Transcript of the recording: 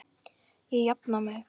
Ég jafna mig.